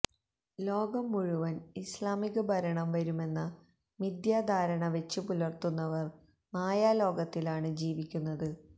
ലോകം മുഴുവന് ഇസ്ലാമിക ഭരണം വരുമെന്ന മിഥ്യാധാരണ വെച്ചുപുലര്ത്തുന്നവര് മായാലോകത്തിലാണ് ജീവിക്കുന്നത്